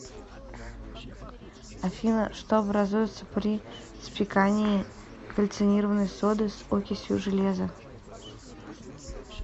афина что образуется при спекании кальцинированной соды с окисью железа